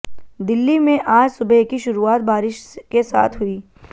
दिल्ली में आज सुबह की शुरूआत बारिश के साथ हुई